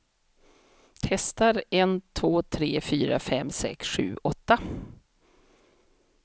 Testar en två tre fyra fem sex sju åtta.